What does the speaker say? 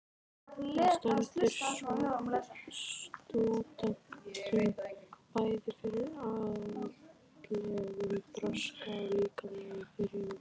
Það stendur stúdentunum bæði fyrir andlegum þroska og líkamlegum þrifum.